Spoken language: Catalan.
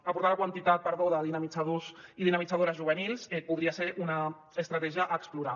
aportar la quantitat perdó de dinamitzadors i dinamitzadores juvenils podria ser una estratègia a explorar